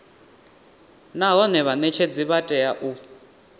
nahone vhanetshedzi vha tea u